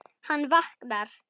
Hann vaknar.